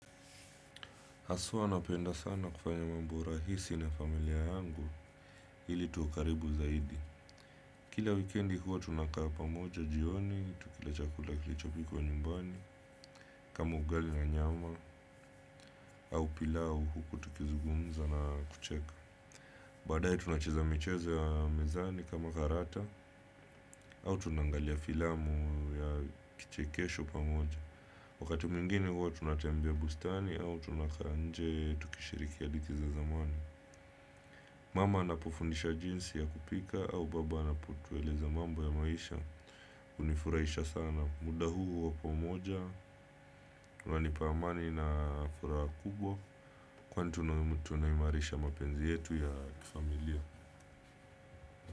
Haswa napenda sana kufanya mambo rahisi na familia yangu ili tuwe karibu zaidi. Kila wikendi huwa tunakaa pamoja jioni, tukila chakula kilichopikwa nyumbani, kama ugali na nyama au pilau huku tukizugumza na kucheka. Baadaye tunacheza michezo ya mezani kama karata au tunangalia filamu ya kichekesho pamoja. Wakati mwingine huwa tunatembea bustani au tunakaa nje tukishiriki hadithi za zamani. Mama anapofundisha jinsi ya kupika au baba anapotueleza mambo ya maisha hunifurahisha sana muda huu wa pomoja unanipa amani na furaha kubwa. Kwani tunaimarisha mapenzi yetu ya kifamilia.